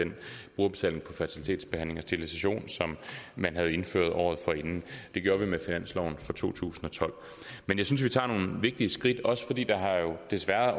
den brugerbetaling på fertilitetsbehandling og sterilisation som man havde indført året forinden det gjorde vi med finansloven for to tusind og tolv men jeg synes vi tager nogle vigtige skridt også fordi der desværre